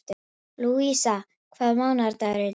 Lúísa, hvaða mánaðardagur er í dag?